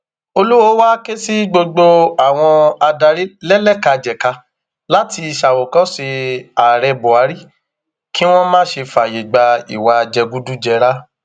olùwòo wáá ké sí gbogbo àwọn adarí lẹlẹkàjẹkà láti ṣàwòkọṣe ààrẹ buhari kí wọn má ṣe fààyè gba ìwà jẹgúdújẹrá